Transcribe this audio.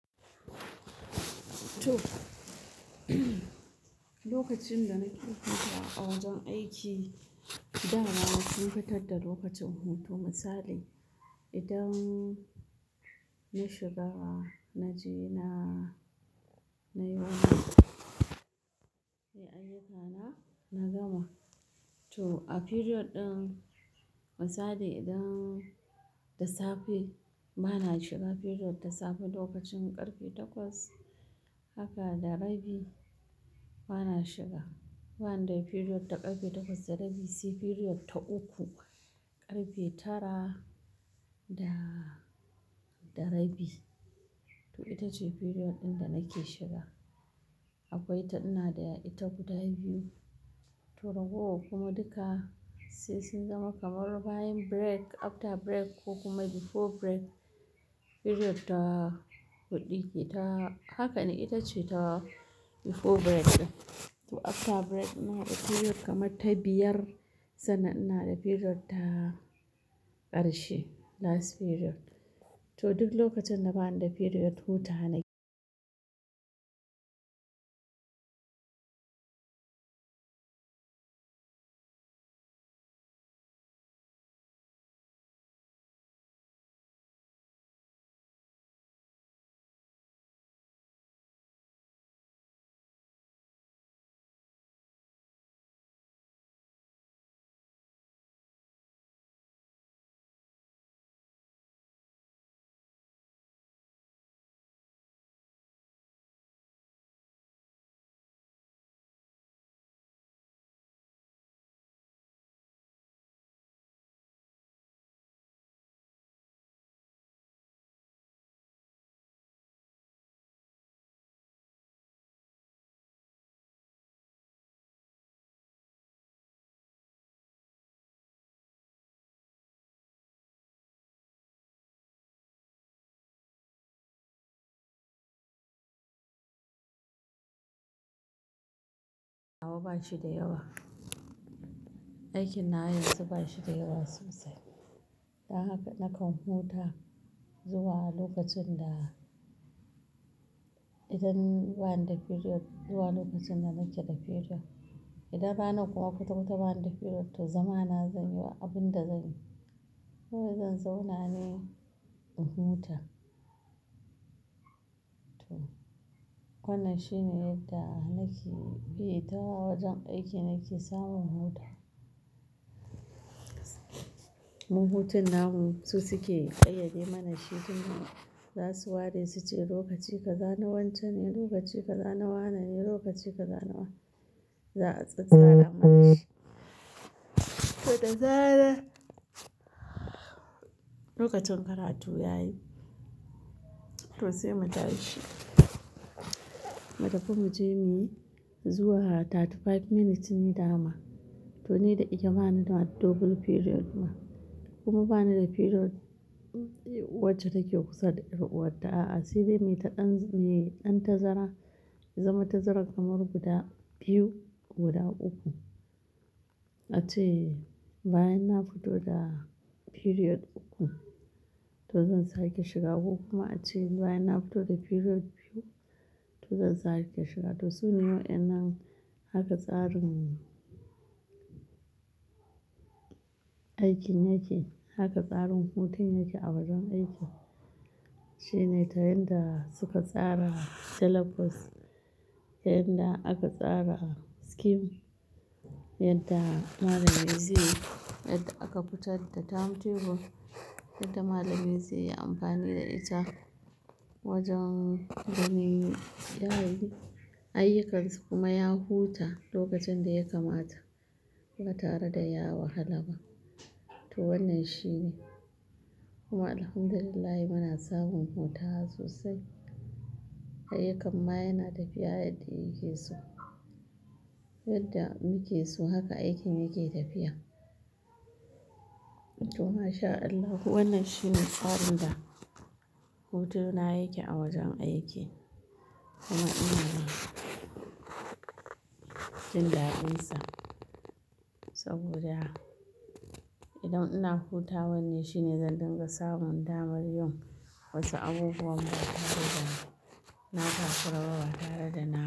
To, lokacin da nake hutawa a wajen aiki, da na sun fitar da lokacin hutu misali idan na shiga na je na, na noma, yi aikana na gama. To a period ɗin misali idan da safe bana shiga period da safe lokacin ƙarfe takwas haka da rabi bana shiga. Bana da period ta ƙarfe takwas da rabi sai period ta uku ƙarfe tara da, da rabi. To ita ce period ɗin da nake shiga. Akwai ta ina da ita guda biyu. To ragowa kuma duka sai sun zama kamar bayan break after break ko kuma before break period ta huɗu ke ta haka ne ita ce ta before break ɗin. To after break ina da period kamar ta biyar sannan ina da period ta ƙarshe last period. To duk lokacin da bana da period huta nake. Hawa ba shi da yawa. Aikin na yanzu ba shi da yawa sosai. Dan haka nakan huta zuwa lokacin da idan bana da period zuwa lokacin da nake da period. Idan ranan kuma kwatakwata ba ni da period to zama na zan yi ba abin da zanyi. Ko zan zauna ne in huta. To wannan shine yadda nake, eh ta wajen aiki nake samun huta. Mun hutun namu su suke tsayayye mana shi domin za su ware su ce lokaci ka zana wancan ne, lokaci ka zana wannan ne, lokaci ka zana wa. Za a tsatsara mana shi. To da zaran lokacin karatu yayi to sai mu tashi. Mu tafi mu je muyi zuwa 35 minutes ne dama. To ni da ita bani da double period kuma bani da period wacce take kusa da yar uwat ta a'a sai dai mai ɗan, mai ɗan tazara zama tazara kamar guda biyu guda uku. Ace bayan na fito da period uku to zan sake shiga ko kuma ace bayan na fito da period biyu to zan sake shiga. To sune wa innan haka tsarin aikin yake, haka tsarin hutun yake a wajen aiki. Shine ta yanda suka tsara syllabus, yanda aka tsara scheme, yadda malamai zai, yadda aka fitar da timetable, yadda malamai zai yi amfani da ita wajen gami yara yi. Ayyukansu kuma ya huta lokacin da ya kamata ba tare da ya wahala ba. To wannan shine kuma Alhamdulillah muna samun hutawa sosai. Ayyukan ma yana tafiya yadda yake so. Yadda muke so haka aikin yake tafiya. To masha Allah wannan shine tsarin da hutuna yake a wajen aiki kuma ina jin daɗinsa saboda idan ina hutawa ne shine zan dinga samun damar yin wasu abubuwan ba tare da, na takuraba ba tare da nama.